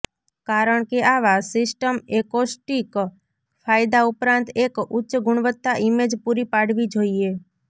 કારણ કે આવા સિસ્ટમ એકોસ્ટિક ફાયદા ઉપરાંત એક ઉચ્ચ ગુણવત્તા ઇમેજ પૂરી પાડવી જોઇએ